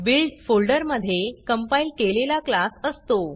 build फोल्डरमधे compile केलेला class असतो